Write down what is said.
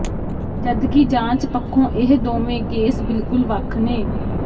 ਜਦਕਿ ਜਾਂਚ ਪੱਖੋਂ ਇਹ ਦੋਵੇਂ ਕੇਸ ਬਿਲਕੁੱਲ ਵੱਖ ਨੇ